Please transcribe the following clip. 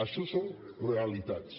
això són rea·litats